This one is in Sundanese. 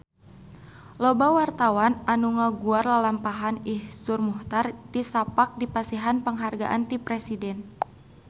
Loba wartawan anu ngaguar lalampahan Iszur Muchtar tisaprak dipasihan panghargaan ti Presiden